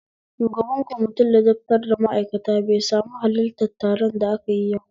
Shugaban kwamitin ladabtar da ma'aikata bai sami halarta taron da akayi yau